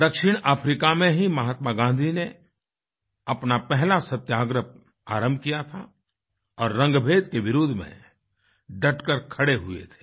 दक्षिण अफ्रीका में ही महात्मा गांधी ने अपना पहला सत्याग्रह आरम्भ किया था और रंगभेद के विरोध में डटकर खड़े हुए थे